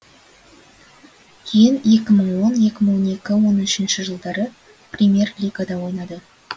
кейін екі мың он екі мың он екі он үшінші жылдары премьер лигада ойнады